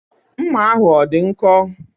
Mma ahụ ọ dị nkọ?